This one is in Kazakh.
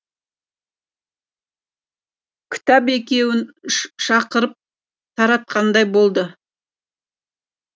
кітап екеуін шақырып таратқандай болды